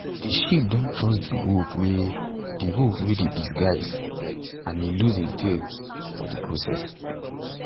de sheep don trust de wolf wey de wolf wey dey disguise and e lose im tail for de process